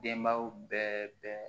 Denbaw bɛɛ bɛ